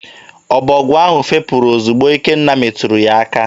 Ọbọgwụ ahụ fepụrụ ozigbo Ikenna meturu ya aka.